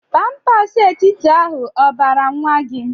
Pampers etiti ahụ obara nwa gi?